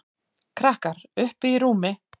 Krakkar: Uppi í rúmi.